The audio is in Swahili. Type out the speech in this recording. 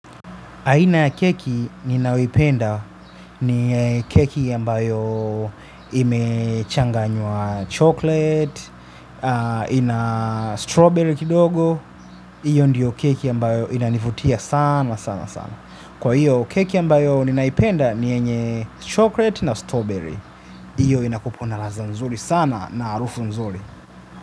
Aina ya keki ninayoipenda ni keki ambayo imechanganywa chocolate, ina strawberry kidogo. Iyo ndiyo keki ambayo inanivutia sana sana sana. Kwa hiyo keki ambayo ninaipenda ni yenye chocolate na strawberry. Iyo inakupu na ladha nzuri sana na harufu nzuri.